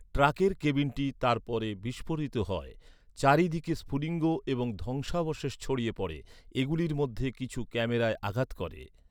ট্রাকের কেবিনটি তারপর বিস্ফোরিত হয়। চার দিকে স্ফুলিঙ্গ এবং ধ্বংসাবশেষ ছড়িয়ে পড়ে। এগুলির মধ্যে কিছু ক্যামেরায় আঘাত করে।